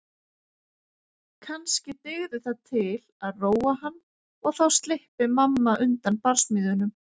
Kannski dygði það til að róa hann og þá slyppi mamma undan barsmíðunum.